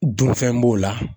Dunfɛn b'o la.